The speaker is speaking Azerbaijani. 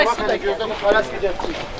Qara gedəcək.